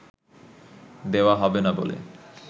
দেওয়া হবে না বলে